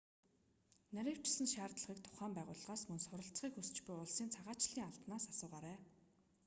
нарийвчилсан шаардлагыг тухайн байгууллагаас мөн суралцахыг хүсч буй улсын цагаачлалын албанаас асуугаарай